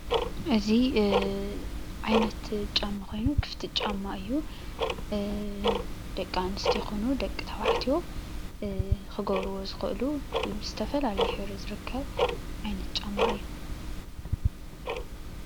እዚ ዓይነት ጫማ ኮይኑ ክፍቲ ጫማ እዩ፡፡ ደቂ ኣነስትዮ ኮኑ ደቀ ተባዕትዮ ክገብርዎ ዝክእሉ ብዝተፈላለየ ሕብሪ ዝርከብ ዓይነት ጫማ እዩ፡፡